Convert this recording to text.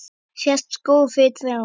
Sést skógur fyrir trjám?